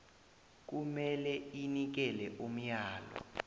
kumele inikele umyalo